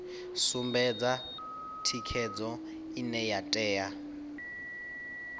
sumbedza thikhedzo ine ya tea